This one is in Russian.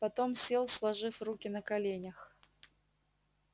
потом сел сложив руки на коленях